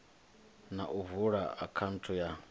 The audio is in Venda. na u vula akhaunthu ya